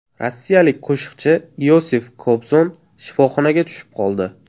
Rossiyalik qo‘shiqchi Iosif Kobzon shifoxonaga tushib qoldi.